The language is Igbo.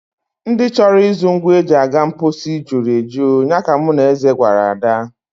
Ndị chọrọ ịzụ ngwa e ji aga mposi juru eju, ya ka mụ na Eze gwara Ada.